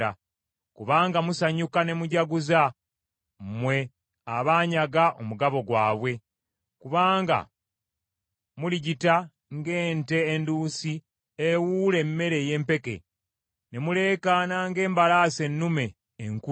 “Kubanga musanyuka ne mujaguza, mmwe abaanyaga omugabo gwabwe, kubanga muligita ng’ente enduusi ewuula emmere ey’empeke, ne muleekaana ng’embalaasi ennume enkulu,